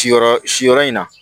Siyɔrɔ siyɔrɔ in na